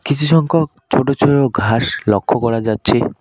কিছু সংখ্যক ছোট ছোও ঘাস লক্ষ্য করা যাচ্ছে।